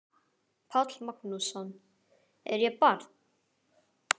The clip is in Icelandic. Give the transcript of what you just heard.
Páll Magnússon: Er ég barn?